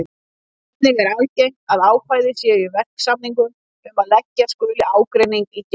Einnig er algengt að ákvæði séu í verksamningum um að leggja skuli ágreining í gerð.